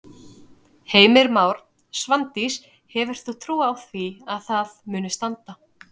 Heimir Már: Svandís hefur þú trú á því að það muni standa?